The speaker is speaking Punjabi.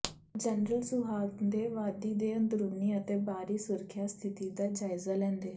ਜਨਰਲ ਸੁਹਾਗ ਨੇ ਵਾਦੀ ਦੇ ਅੰਦਰੂਨੀ ਅਤੇ ਬਾਹਰੀ ਸੁਰੱਖਿਆ ਸਥਿਤੀ ਦਾ ਜਾਇਜ਼ਾ ਲੈਂਦੇ